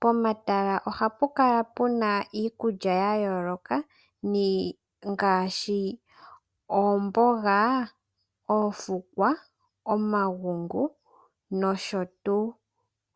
Pomatala ohapu kala pu na iikulya ya yooloka ngaashi oomboga, oofukwa, omagungu nosho tuu.